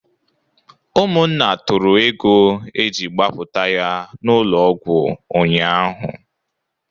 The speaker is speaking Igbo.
Ụmụnna tụrụ ego e ji gbapụta ya n'ụlọ ọgwụ ụnyaahụ